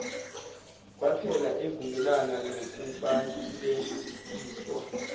waphela evumelana nokubalekiswa